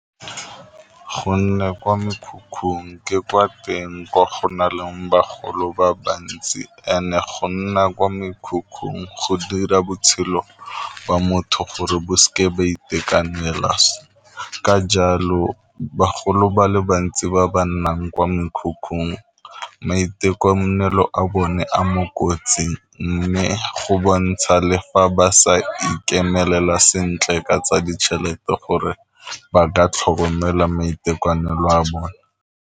Go nne kwa mekhukhung ke kwa teng kwa go na leng bagolo ba bantsi and-e go nna kwa mekhukhung go dira botshelo ba motho gore bo seke ba itekanela, ka jalo bagolo ba le bantsi ba ba nnang kwa mekhukhung maitekanelo a bone a mo kotsing, mme go bontsha le fa ba sa ikemelela sentle ka tsa ditšhelete gore ba ka tlhokomela maitekanolo a bone.